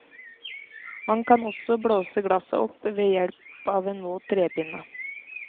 Man kan også blåse glasset opp ved hjelp av en våt trepinne.